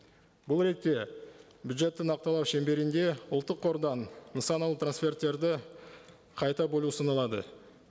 бұл ретте бюджетті нақтылау шеңберінде ұлттық қордан нысаналы трансферттерді қайта бөлу ұсынылады